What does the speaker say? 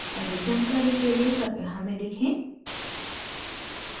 अधिक जानकारी के लिए कृपया हमें लिखें